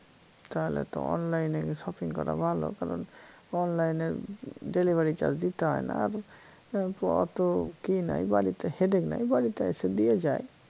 তালে তো online এ shopping করা ভালো কারন online এ delivery charge দিতে হয় না আর এ অত কি নাই বাড়িতে headache নাই বাড়িতে এসে দিয়ে যায়